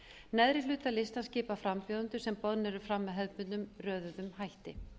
neðri hluta listans skipa frambjóðendur sem boðnir eru fram með hefðbundnum röðuðum hætti